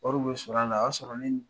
Wari bɛ sɔrɔ a la a y'a sɔrɔ ni